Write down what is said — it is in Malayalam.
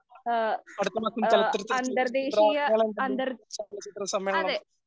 അ അടുത്ത മാസം ചലച്ചിത്ര സമ്മേളനം